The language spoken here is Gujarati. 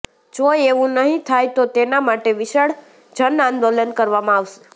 જો એવું નહી થાય તો તેના માટે વિશાળ જનઆંદોલન કરવામાં આવશે